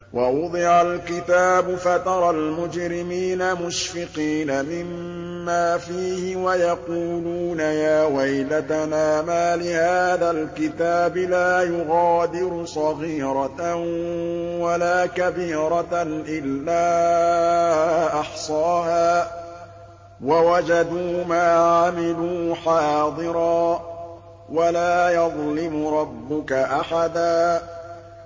وَوُضِعَ الْكِتَابُ فَتَرَى الْمُجْرِمِينَ مُشْفِقِينَ مِمَّا فِيهِ وَيَقُولُونَ يَا وَيْلَتَنَا مَالِ هَٰذَا الْكِتَابِ لَا يُغَادِرُ صَغِيرَةً وَلَا كَبِيرَةً إِلَّا أَحْصَاهَا ۚ وَوَجَدُوا مَا عَمِلُوا حَاضِرًا ۗ وَلَا يَظْلِمُ رَبُّكَ أَحَدًا